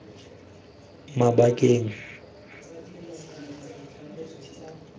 mabakeng a a jalo maina